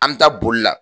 An bɛ taa bolila